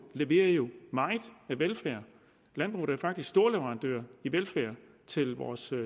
leverer jo meget velfærd landbruget er faktisk storleverandør af velfærd til vores